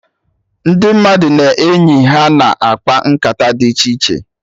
Ndị mmadụ na enyi ha na-akpa nkata dị iche iche